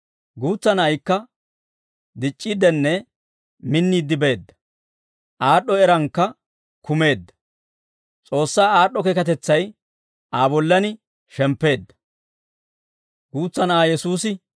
Guutsa na'aykka dic'c'iiddenne minniidde beedda; aad'd'o eraankka kumeedda; S'oossaa aad'd'o keekatetsay Aa bollaan shemppeedda.